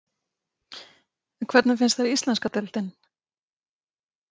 En hvernig finnst henni íslenska deildin?